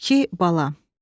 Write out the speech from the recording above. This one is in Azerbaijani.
İki bala.